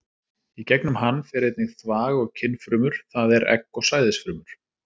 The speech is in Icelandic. Í gegnum hann fer einnig þvag og kynfrumur, það er egg og sæðisfrumur.